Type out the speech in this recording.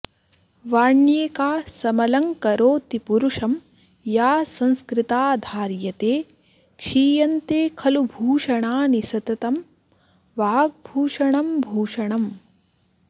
वाण्येका समलंकरोति पुरुषं या संस्कृता धार्यते क्षीयन्ते खलू भूषणानि सततं वाग्भूषणं भूषणम्